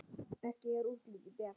Ekki er útlitið bjart!